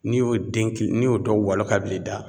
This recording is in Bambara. N'i y'o den ki, n'i y'o dɔw walon ka bila i da